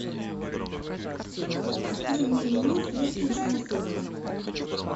открой мне меню с русским шансоном